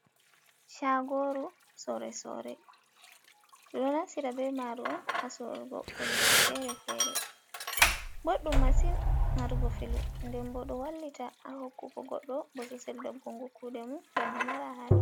Shagoru sore-sore beɗo naftira be maru on ha sorugo kujeji fere-fere. boddum masin marugo filu. Ɗen bo do wallita a hokkugo goddo bososel ɗongonko kude mum banno mara haje.